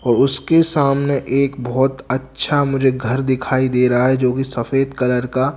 और उसके सामने एक बहोत अच्छा मुझे घर दिखाई दे रहा है जो की सफेद कलर का--